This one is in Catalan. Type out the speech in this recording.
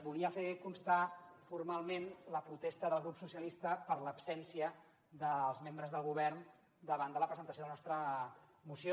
volia fer constar formalment la protesta del grup socialista per l’absència dels membres del govern davant de la presentació de la nostra moció